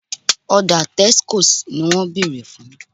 Ọ̀dà Texcoat ni wọ́n béèrè fún